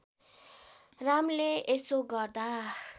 रामले यसो गर्दा